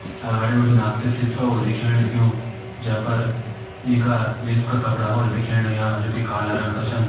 अगाडी बिटिन आपते सीसे होल दिखेण लग्युं जेपर इंका निस का कपडा होळा दिखेण लग्यां जोकि काला रंग का छन।